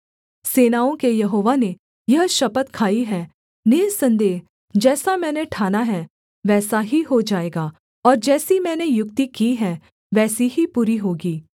सेनाओं के यहोवा ने यह शपथ खाई है निःसन्देह जैसा मैंने ठाना है वैसा ही हो जाएगा और जैसी मैंने युक्ति की है वैसी ही पूरी होगी